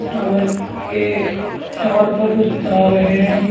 Tower के tower पर कुछ तार हैं।